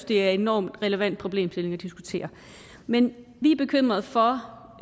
det er en enormt relevant problemstilling at diskutere men vi er bekymrede for